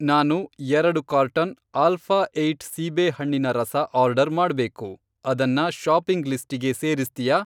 ನಾನು ಎರಡು carton alpha eight ಸೀಬೇಹಣ್ಣಿನ ರಸ ಆರ್ಡರ್ ಮಾಡ್ಬೇಕು, ಅದನ್ನ ಷಾಪಿಂಗ್ ಲಿಸ್ಟಿಗೆ ಸೇರಿಸ್ತ್ಯಾ?